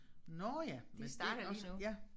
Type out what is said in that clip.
Nåh ja men det også ja